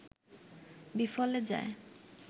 বিফলে যায়